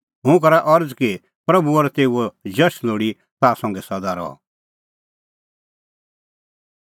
हुंह करा अरज़ कि प्रभू और तेऊओ जश लोल़ी ताह संघै सदा रहअ